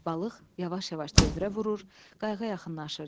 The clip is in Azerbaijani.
Balıq yavaş-yavaş dövrə vurur, qayıqa yaxınlaşırdı.